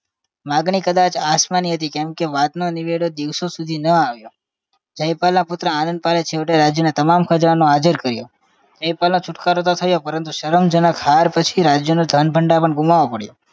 માંગણી કદાચ આસમાની હતી કેમકે વાતનો નીવડો દિવસો સુધી ન આવ્યો જયપાલ ના પુત્રએ આનદપાલે છેવટે રાજ્ય તમામ ખજાનો હાજર કર્યો જયપાલ છુટકારો તો થયો પરંતુ શરમજનક હાર પછી રાજ્યનો ધન ભંડાર પણ ગુમાવવો પડ્યો